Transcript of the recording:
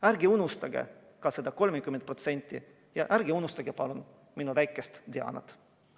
Ärge unustage seda 30% ja ärge unustage palun minu väikest Dianat!